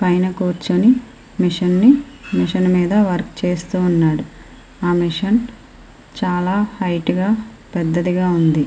పైన కూర్చొని మెషీన్ నీ మెషిన్ మీద వర్క్ చేస్తూ ఉన్నాడు. ఆ మెషిన్ చాలా హైట్ గా పెద్దదిగా ఉంది.